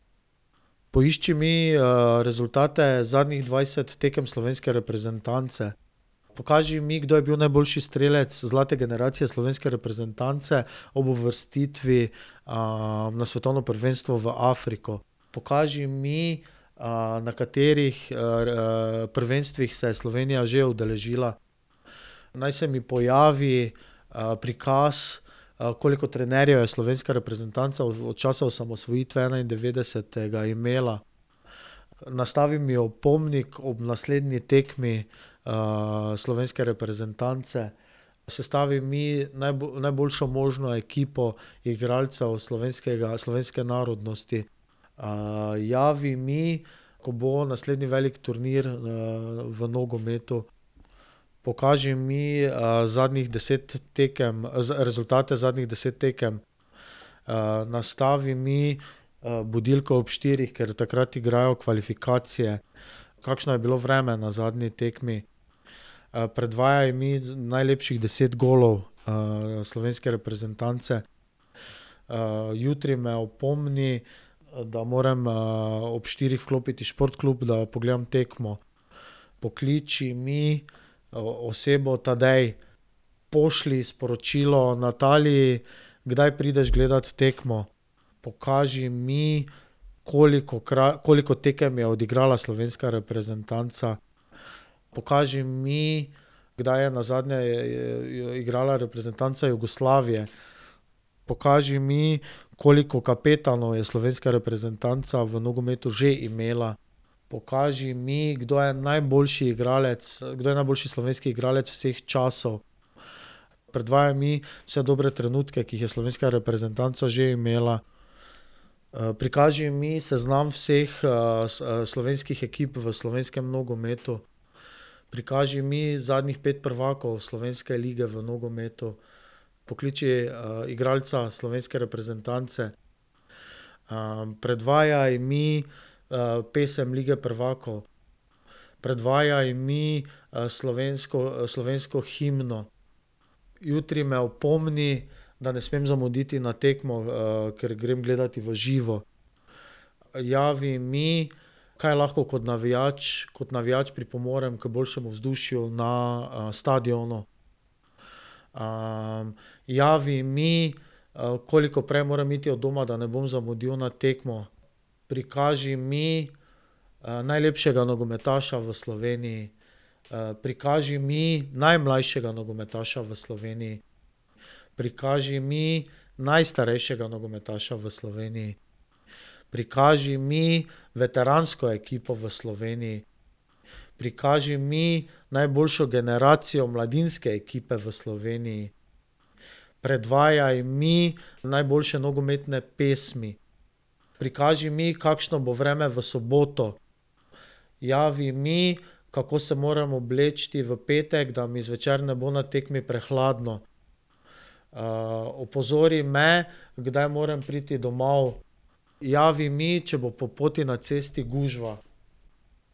Poišči mi, rezultate zadnjih dvajset tekem slovenske reprezentance. Pokaži mi, kdo je bil najboljši strelec zlate generacije slovenske reprezentance ob uvrstitvi, na svetovno prvenstvo v Afriko. Pokaži mi, na katerih, prvenstvih se je Slovenija že udeležila. Naj se mi pojavi, prikaz, koliko trenerjev je slovenska reprezentanca od časa osamosvojitve enaindevetdesetega imela? Nastavi mi opomnik ob naslednji tekmi, slovenske reprezentance. Sestavi mi najboljšo možno ekipo igralcev slovenskega, slovenske narodnosti. javi mi, ko bo naslednji velik turnir, v nogometu. Pokaži mi, zadnjih deset tekem, rezultate zadnjih deset tekem. nastavi mi, budilko ob štirih, ker takrat igrajo kvalifikacije. Kakšno je bilo vreme na zadnji tekmi? predvajaj mi najlepših deset golov slovenske reprezentance. jutri me opomni, da morem, ob štirih vklopiti Šport klub, da pogledam tekmo. Pokliči mi, osebo Tadej. Pošlji sporočilo Nataliji: "Kdaj prideš gledat tekmo?" Pokaži mi, koliko tekem je odigrala slovenska reprezentanca. Pokaži mi, kdaj je nazadnje igrala reprezentanca Jugoslavije. Pokaži mi, koliko kapetanov je slovenska reprezentanca v nogometu že imela. Pokaži mi, kdo je najboljši igralec, kdo je najboljši slovenski igralec vseh časov. Predvajaj mi vse dobre trenutke, ki jih je slovenska reprezentanca že imela. prikaži mi seznam vseh, slovenskih ekip v slovenskem nogometu. Prikaži mi zadnjih pet prvakov slovenske lige v nogometu. Pokliči, igralca slovenske reprezentance. predvajaj mi, pesem Lige prvakov. Predvajaj mi, slovensko, slovensko himno. Jutri me opomni, da ne smem zamuditi na tekmo, ker grem gledat v živo. Javi mi, kaj lahko kot navijač, kot navijač pripomorem k boljšemu vzdušju na, stadionu. javi mi, koliko prej moram iti od doma, da ne bom zamudil na tekmo. Prikaži mi, najlepšega nogometaša v Sloveniji. prikaži mi najmlajšega nogometaša v Sloveniji. Prikaži mi najstarejšega nogometaša v Sloveniji. Prikaži mi veteransko ekipo v Sloveniji. Prikaži mi najboljšo generacijo mladinske ekipe v Sloveniji. Predvajaj mi najboljše nogometne pesmi. Prikaži mi, kakšno bo vreme v soboto. Javi mi, kako se moram obleči v petek, da mi zvečer ne bo na tekmi prehladno. opozori me, kdaj moram priti domov. Javi mi, če bo po poti na cesti gužva.